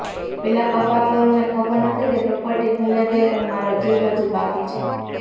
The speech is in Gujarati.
પેલા કપાતરોને ખબર નથી કે પ્રોપર્ટી ભલે ગઈ પણ મારો જીવ હજુ બાકી છે